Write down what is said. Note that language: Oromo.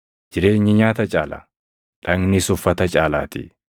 Jireenyi nyaata caala; dhagnis uffata caalaatii.